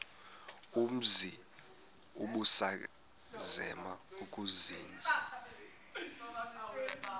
umzi ubusazema ukuzinza